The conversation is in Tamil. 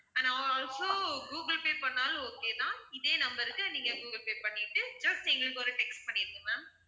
and al~ also கூகுல்பே பண்ணாலும் okay தான் இதே number க்கு நீங்க கூகுல்பே பண்ணிட்டு just எங்களுக்கு ஒரு text பண்ணிடுங்க ma'am